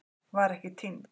Var ekki týnd